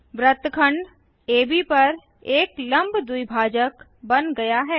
वृत्तखंड एबी पर एक लंब द्विभाजक बन गया है